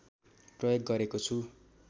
प्रयोग गरेको छु